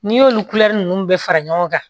N'i y'olu bɛɛ fara ɲɔgɔn kan